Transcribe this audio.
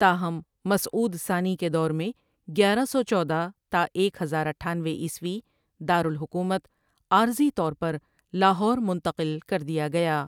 تاہم مسعود ثانی کے دور میں گیارہ سو چودہ تا ایک ہزار اٹھانوے عیسوی دار الحکومت عارضی طور پر لاہور منتقل کر دیا گیا ۔